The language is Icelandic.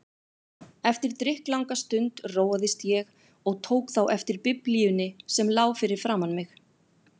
Eftir drykklanga stund róaðist ég og tók þá eftir Biblíunni sem lá fyrir framan mig.